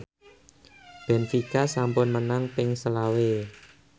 benfica sampun menang ping selawe